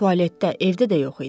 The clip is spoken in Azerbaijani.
Tualetdə, evdə də yox idi.